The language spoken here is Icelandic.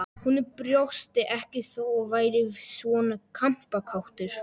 Hún brosti ekki þó að ég væri svona kampakátur.